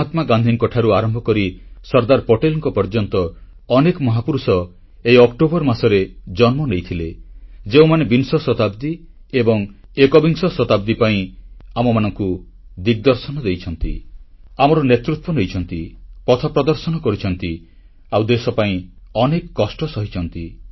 ମହାତ୍ମା ଗାନ୍ଧୀଙ୍କଠାରୁ ଆରମ୍ଭ କରି ସର୍ଦ୍ଦାର ପଟେଲଙ୍କ ପର୍ଯ୍ୟନ୍ତ ଅନେକ ମହାପୁରୁଷ ଏହି ଅକ୍ଟୋବର ମାସରେ ଜନ୍ମ ନେଇଥିଲେ ଯେଉଁମାନେ ବିଂଶ ଶତାବ୍ଦୀ ଓ ଏକବିଂଶ ଶତାବ୍ଦୀ ପାଇଁ ଆମମାନଙ୍କୁ ଦିଗଦର୍ଶନ ଦେଇଛନ୍ତି ଆମର ନେତୃତ୍ୱ ନେଇଛନ୍ତି ପଥ ପ୍ରଦର୍ଶନ କରିଛନ୍ତି ଆଉ ଦେଶ ପାଇଁ ଅନେକ କଷ୍ଟ ସହିଛନ୍ତି